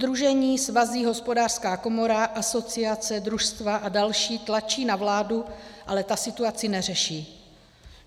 Sdružení, svazy, Hospodářská komora, asociace, družstva a další tlačí na vládu, ale ta situaci neřeší.